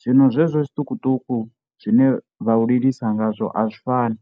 zwino zwezwo zwiṱukuṱuku zwine vhau lilisa ngazwo azwi fani.